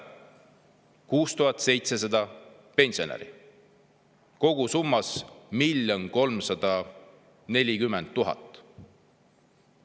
6700 pensionäri, kogusummas 1 340 000 eurot.